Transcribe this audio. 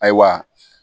Ayiwa